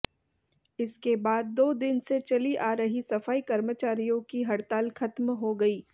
इसके बाद दो दिन से चली आ रही सफाई कर्मचारियों की हड़ताल खत्म हो गई